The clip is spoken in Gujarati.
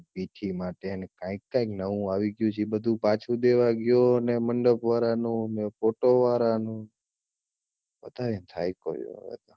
માટે ને કાઈકાંક નવું આવી ગયું છે ને ઈ બધું પાછું દેવા ગયો ને મંડપ વાળાનું ફોટો વાળાનું વધારે થાયકો છુ